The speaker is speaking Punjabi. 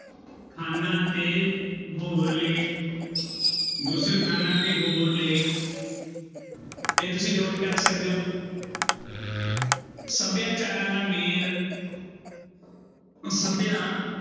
ਖਾਨਾ ਤੇ ਹੋਰ ਲੇਖ ਗੁਸਲਖਾਨਾ ਤੇ ਹੋਰ ਲੇਖ ਤੇ ਤੁਸੀਂ note ਕਰ ਸਕਦੇ ਹੋ ਸਭਿਆਚਾਰਾਂ ਦਾ ਮੇਲ ਸਭਿਆ